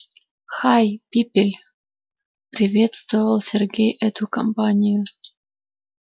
хай пипель приветствовал сергей эту компанию